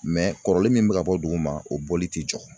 Mɛ kɔrɔlen min bɛ ka bɔ duguma o bɔli tɛ jɔ